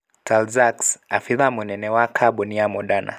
Tal Zaks, abithaa mũnene wa kambũni ya Moderna.